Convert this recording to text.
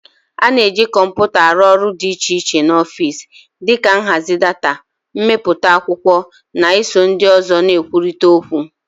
A na-eji kọmpụta arụ ọrụ dị iche iche n'ọfịs, dị ka nhazi data, imepụta akwụkwọ, na iso ndị ọzọ na-ekwurịta okwu.